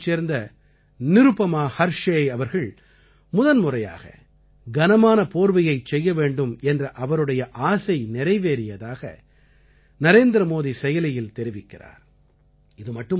ஜபல்பூரைச் சேர்ந்த நிருபமா ஹர்ஷேய் அவர்கள் முதன்முறையாக கனமான போர்வையைச் செய்ய வேண்டும் என்ற அவருடைய ஆசை நிறைவேறியதாக நரேந்திரமோதி செயலியில் தெரிவிக்கிறார்